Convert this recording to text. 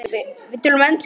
Við töluðum ensku.